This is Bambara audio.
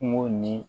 Kungo ni